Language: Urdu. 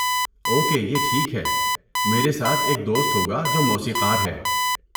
اوکے، یہ ٹھیک ہے۔ میرے ساتھ ایک دوست ہو گا جو موسیقار ہے۔